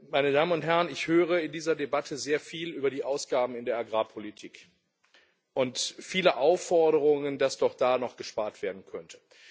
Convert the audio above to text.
Meine Damen und Herren, in dieser Debatte höre ich sehr viel über die Ausgaben in der Agrarpolitik und viele Aufforderungen, dass doch da noch gespart werden könnte.